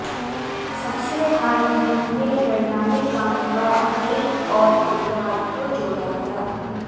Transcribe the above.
सबसे हाल ही में प्रणाली काम का एक और प्रकार को जोड़ा गया